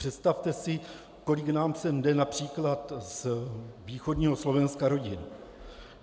Představte si, kolik nám sem jde například z východního Slovenska rodin.